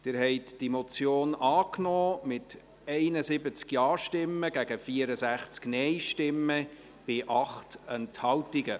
Sie haben diese Motion angenommen, mit 71 Ja- gegen 64 Nein-Stimmen bei 8 Enthaltungen.